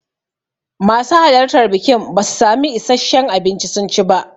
Masu halartan bikin basu samu issashen abinci sun ci ba.